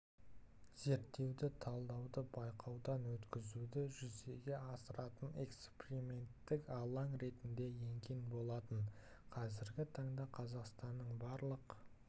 зерттеуді талдауды байқаудан өткізуді жүзеге асыратын эксперименттік алаң ретінде енген болатын қазіргі таңда қазақстанның барлық